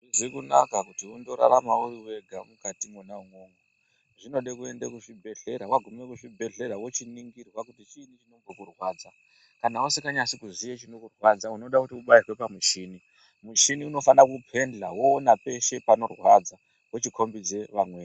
Hazvizi kunaka kuti undorarama uri wega mukati imomo. Zvinode kuende kuzvibhedhlera vagume kuzvibhedhlera vochiningirwa kuti chiini chinombokurwadza. Kana usikanyasi kuziya chinokurwadza unode kuti ubairwe pamuchini. Muchini unofane kupenja voona peshe pano rwadza vochikombidze vamweni.